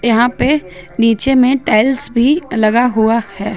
यहां पे नीचे में टाइल्स भी लगा हुआ है।